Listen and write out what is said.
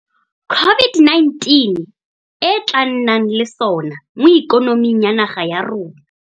COVID-19 e tla nnang le sona mo ikonoming ya naga ya rona.